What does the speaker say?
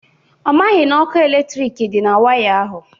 Ọ maghị na okụ eletrik dị na waya ahụ.